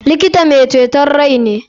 Likita mai ceton rai ne.